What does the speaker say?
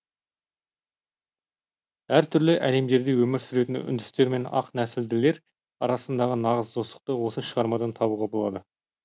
әр түрлі әлемдерде өмір сүретін үндістер мен ақ нәсілділер арасындағы нағыз достықты осы шығармадан табуға болады